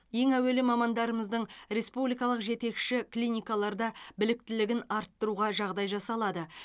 ең әуелі мамандарымыздың республикалық жетекші клиникаларда біліктілігін арттыруға жағдай жасалады